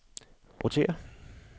rotér